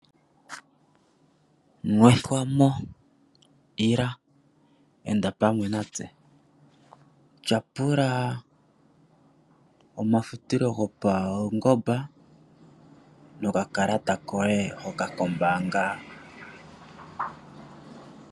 Nwethwamo! Ila enda pamwe natse tyapula omafutilo gopaungomba nokakalata koye hoka kombaanga.